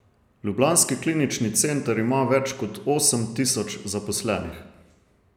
Ljubljanski klinični center ima več kot osem tisoč zaposlenih.